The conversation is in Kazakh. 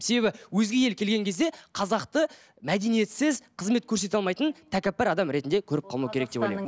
себебі өзге ел келген кезде қазақты мәдениетсіз қызмет көрсете алмайтын тәкәппар адам ретінде көріп қалмау керек деп ойлаймын